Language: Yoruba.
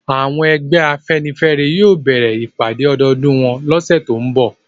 Àwọn ẹgbẹ́ afẹ́nifẹ́re yóò bẹ̀rẹ̀ ìpàdẹ́ ọdọọdún wọn lọ́sẹ̀ tó ń bọ̀